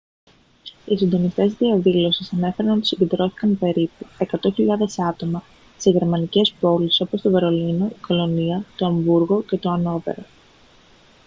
οι συντονιστές της διαδήλωσης ανέφεραν ότι συγκεντρώθηκαν περίπου 100.000 άτομα σε γερμανικές πόλεις όπως το βερολίνο η κολωνία το αμβούργο και το αννόβερο